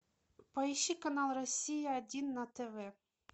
поищи канал россия один на тв